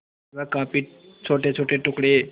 वह काफी छोटेछोटे टुकड़े